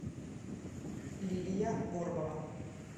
лилия горбова